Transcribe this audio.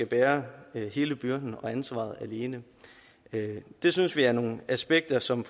bære hele byrden og ansvaret alene det synes vi er nogle aspekter som